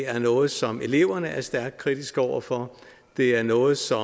er noget som eleverne er stærkt kritiske over for det er noget som